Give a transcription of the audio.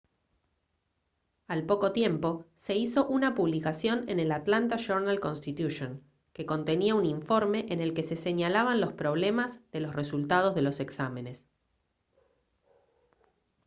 al poco tiempo se hizo una publicación en el atlanta journal-constitution que contenía un informe en el que se señalaban los problemas de los resultados de los exámenes